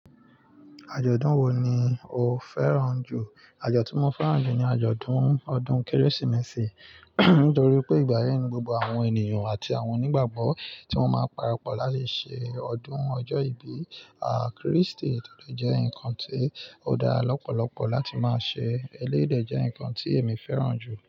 Àjọ̀dún wo ni o fẹ́ràn jù? Àjọ̀dún tí mo fẹ́ràn jù ni àjọ̀dún ọdún kérésìmesì nítorí pé ìgbà yẹn ni gbogbo àwọn ènìyàn àti àwọn onígbàgbọ́ tí wọ́n máa parapọ̀ láti ṣe ọdún ọjọ́ ìbí, ah, Kristi tó dé jẹ́ ǹkan tí ó dá lọ́pọ̀lọpọ̀ láti máa ṣe, eléyìí dé jẹ́ ǹkan tí èmi fẹ́ràn jù.